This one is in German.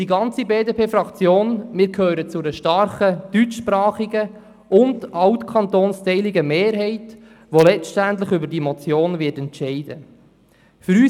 Ich und die gesamte BDP-Fraktion gehören zu einer starken deutschsprachigen und altkantonsteiligen Mehrheit, die letztendlich über diese Motion entscheiden wird.